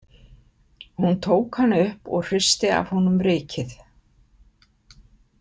Hún tók hann upp og hristi af honum rykið.